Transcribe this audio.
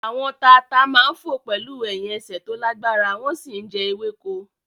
Àwọn tata máa ń fò pẹ̀lú ẹ̀hìn ẹsẹ̀ tó lágbára wọ́n sì ń jẹ ewéko